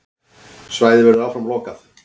Svæðið verður áfram lokað.